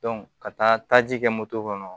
ka taaji kɛ moto kɔnɔ